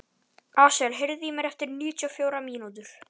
Asael, heyrðu í mér eftir níutíu og fjórar mínútur.